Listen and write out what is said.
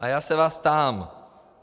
A já se vás ptám: